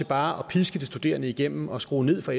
bare at piske de studerende igennem og skrue ned for